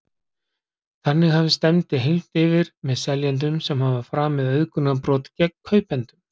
Þannig hafi stefndi hylmt yfir með seljendum sem hafi framið auðgunarbrot gegn kaupendum.